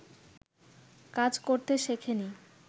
কাজ করতে শেখে নি